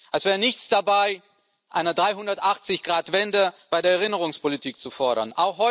als wäre nichts dabei, eine 360-Grad Wende bei der Erinnerungspolitik zu fordern.